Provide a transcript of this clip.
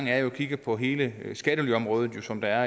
er at kigge på hele skattelyområdet som der